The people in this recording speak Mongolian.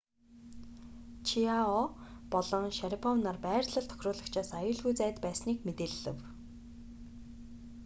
чиао болон шарипов нар байрлал тохируулагчаас аюулгүй зайд байсныг мэдээлэв